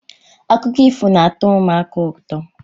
Akụkọ ifo na-atọ ụmụaka ụtọ.